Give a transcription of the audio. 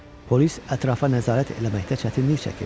Polis ətrafa nəzarət eləməkdə çətinlik çəkirdi.